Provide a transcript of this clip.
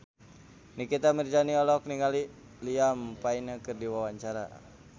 Nikita Mirzani olohok ningali Liam Payne keur diwawancara